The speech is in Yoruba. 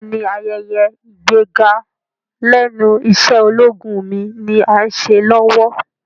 Bẹ́ẹ̀ni, ayẹyẹ ìgbéga lẹ́nu iṣẹ́ ológun mi ni Áà ń ṣe lọ́wọ́